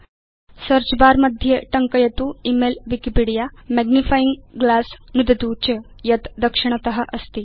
search bar मध्ये टङ्कयतु इमेल विकिपीडिया मैग्निफाइंग ग्लास नुदतु च यत् दक्षिणत अस्ति